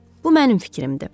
Bu mənim fikrimdir.